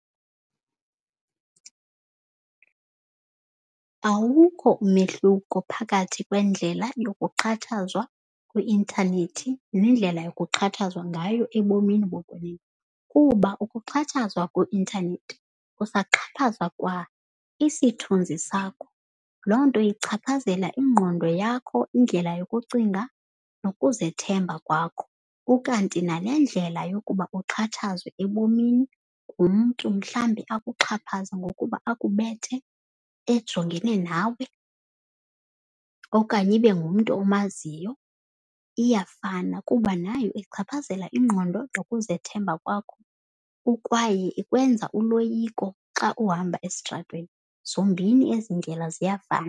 Awukho umehluko phakathi kwendlela yokuxhatshazwa kwi-intanethi nendlela yokuxhatshazwa ngayo ebomini bokwenene. Kuba ukuxhatshazwa kwi-intanethi kusaxhaphazwa kwa isithunzi sakho. Loo nto ichaphazela ingqondo yakho, indlela yokucinga nokuzethemba kwakho. Ukanti nale ndlela yokuba uxhatshazwe ebomini ngumntu mhlawumbi akuxhaphaze ngokuba akubethe ejongene nawe, okanye ibe ngumntu omaziyo. Iyafana kuba nayo ichaphazela ingqondo nokuzethemba kwakho, ukwaye ikwenza uloyiko xa uhamba esitratweni. Zombini ezi ndlela ziyafana.